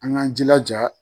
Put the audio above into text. An k'an jilaja